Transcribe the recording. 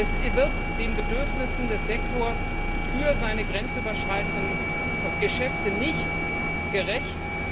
Es wird den Bedürfnissen des Sektors für seine grenzüberschreitenden Geschäfte nicht gerecht.